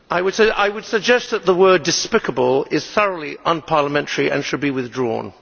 Mr President, I would suggest that the word despicable' is thoroughly unparliamentary and should be withdrawn.